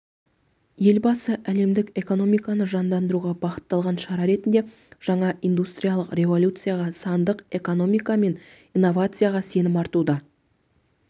елбасы әлемдік экономиканы жандандыруға бағытталған шара ретінде жаңа индустриялық революцияға сандық экономика мен инновацияға сенім артуды